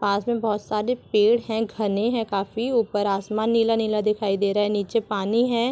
पास मे बहुत सारे पेड़ है घने है काफी ऊपर आसमान नीला-नीला दिखाई दे रहा है नीचे पानी है